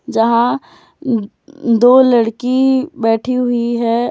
जहां दो लड़की बैठी हुई है।